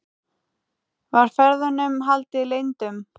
Var ferðunum haldið leyndum